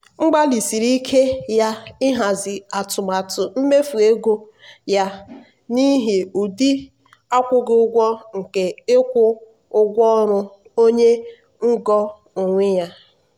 mgbalịsiri ike ya ịhazi atụmatụ mmefu ego ya n'ihi ụdị akwụghị ụgwọ nke ịkwụ ụgwọ ọrụ onye ngo onwe ya.